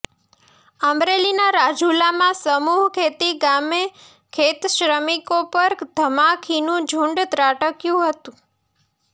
અમરેલીના રાજુલામાં સમૂહખેતી ગામે ખેતશ્રમિકો પર ધમાખીનું ઝૂંડ ત્રાટક્યુ હતું